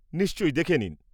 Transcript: -নিশ্চয়ই, দেখে নিন।